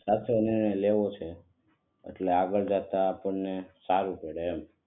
સાચો નિર્ણય લેવો છે એટલે આગળ જતા આપણે સારું પડે એમ.